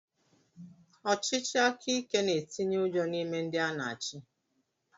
Ọchịchị aka ike na-etinye ụjọ n’ime ndị a na achi